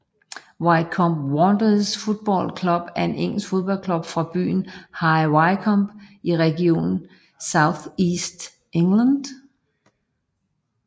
Wycombe Wanderers Football Club er en engelsk fodboldklub fra byen High Wycombe i regionen South East England